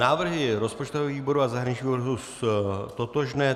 Návrhy rozpočtového výboru a zahraničního výboru jsou totožné.